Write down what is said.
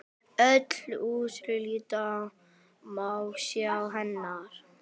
Öll úrslit má sjá hérna.